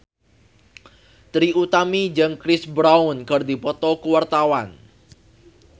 Trie Utami jeung Chris Brown keur dipoto ku wartawan